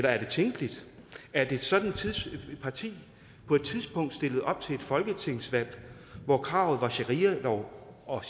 er det tænkeligt at et sådant parti på et tidspunkt stiller op til et folketingsvalg hvor kravet er sharialov og